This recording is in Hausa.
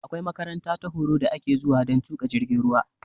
Akwai makaranta ta horo da ake zuwa dan tuƙa jirgin ruwa